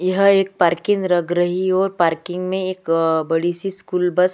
यह एक पार्किंग लग रही है और पार्किंग में एक बड़ी सी स्कूल बस --